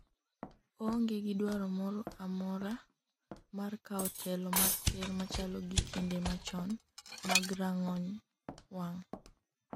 oonge gi dwaro moro amora mar kawo telo mar ker machalo gi kinde machon mag rang'ong wang'